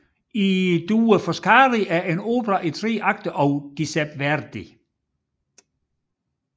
I due Foscari er en opera i tre akter af Giuseppe Verdi